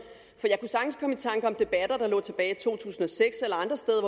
for der lå tilbage i to tusind og seks eller